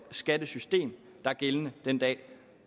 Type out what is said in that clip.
skattesystem der er gældende den dag